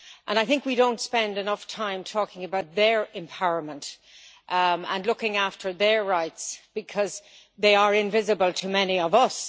I think we do not spend enough time talking about their empowerment and looking after their rights because they are invisible to many of us.